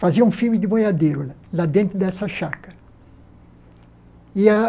Fazia um filme de boiadeiro né lá dentro dessa chácara. E a